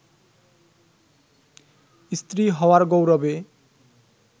স্ত্রী হওয়ার গৌরবে